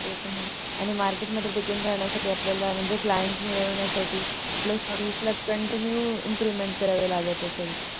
ते तर आहेच आणि Market मध्ये टिकून साठी आपल्याला म्हणजे Clent मिळविण्यासाठी आपल्या Skill continue improvemnt करावं लागत असेल